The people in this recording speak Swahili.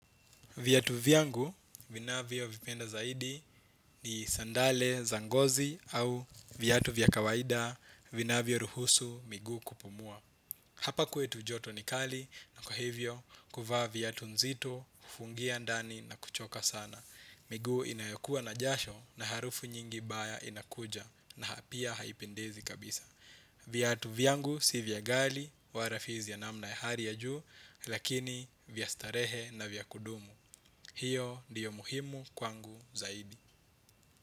Viatu viangu, vinavyovipenda zaidi ni sandale za ngozi au viatu vya akawaida, vinavyoruhusu, miguu kupumua. Hapa kwetu joto ni kali na kwa hivyo, kuvaa viatu nzito, kufungia ndani na kuchoka sana. Miguu inayokuwa na jasho na harufu nyingi mbaya inakuja na pia haipendezi kabisa. Viatu vyangu si vya ghali wa rafizia namna ya hali ya juu, lakini vya starehe na vya kudumu. Hiyo ndiyo muhimu kwangu zaidi.